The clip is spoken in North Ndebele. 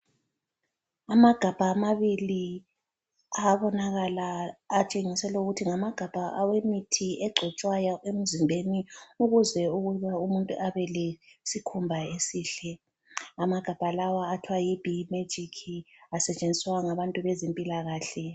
Amagabha amabili ayabonakala ayatshengisela ukuthi ngamagabha awemithi egcotshwayo emzimbeni ukuze ukuba umuntu abe lesikhumba esihle, amagabha lawa athwa yiBee magic asetshenziswa ngabantu bezempilakahle.